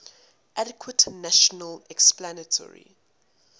adequate natural explanatory